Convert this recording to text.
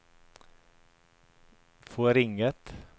forringet